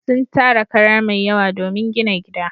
Sun tara kara mai yawa domin gina gida.